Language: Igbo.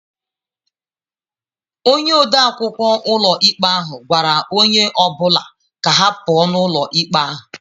Onye ode akwụkwọ ụlọikpe ahụ gwara onye ọ bụla ka ha pụọ ​​n'ụlọ ikpe ahụ